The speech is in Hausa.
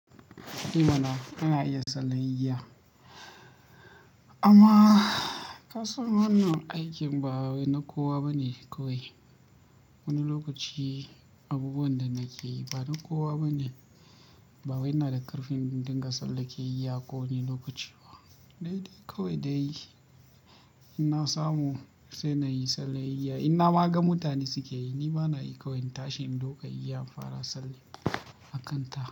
Eh mana, ina iya tsalen igiya. Amma ka san wannan aikin ba wai na kowa bane kawai. Wani lokaci abubuwan da nake yi ba na kowa bane. Ba wai ina da ƙarfin in dinga tsaleke iya ko wani lokaci ba. Dai dai kawai dai, in na samu sai na yi tsale iya. Inna ma ga mutane suke yi, ni ma na yi kawai in tashi in ɗauka iya in fara salle a kanta.